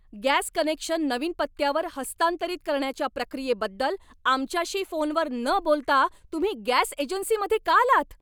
Gas connection नवीन पत्त्यावर हस्तांतरित करण्याच्या प्रक्रियेबद्दल आमच्याशी फोनवर न बोलता तुम्ही गॅस एजन्सीमध्ये का आलात?